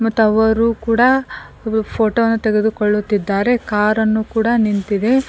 Tower ಕೂಡ ಫೋಟೋವನ್ನು ತೆಗೆದುಕೊಳ್ಳುತ್ತಿದ್ದಾರೆ ಕಾರನ್ನು ಕೂಡ ನಿಂತಿದೆ.